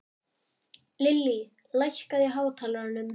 Lillý, lækkaðu í hátalaranum.